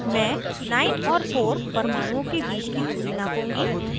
मैं 9 और 4 परमाणुओं के बीच की दूरी नापूंगी